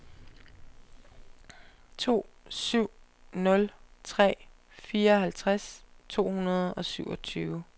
to syv nul tre fireoghalvtreds to hundrede og syvogtyve